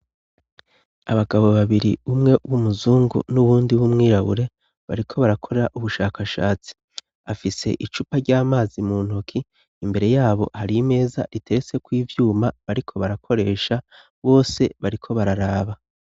Abagabo babiri umwe w'umuzungu n'uwundi w'umwirabure, bariko barakora ubushakashatsi. Afise icupa ry'amazi mu ntoki, imbere y'abo, har'imeza riteretse k'uvyuma bariko barakoresha. Bose bariko bararaba.